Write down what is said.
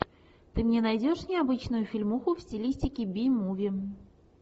ты мне найдешь необычную фильмуху в стилистике би муви